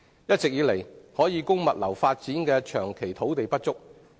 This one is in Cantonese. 一直以來，可供物流發展的土地長期不足。